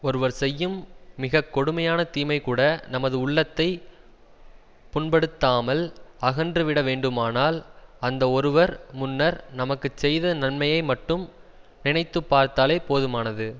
ஒருவர் செய்யும் மிக கொடுமையான தீமைகூட நமது உள்ளத்தை புண்படுத்தாமல் அகன்று விட வேண்டுமானால் அந்த ஒருவர் முன்னர் நமக்கு செய்த நன்மையை மட்டும் நினைத்து பார்த்தாலே போதுமானது